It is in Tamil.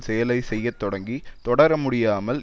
செயலை செய்ய தொடங்கித் தொடர முடியாமல்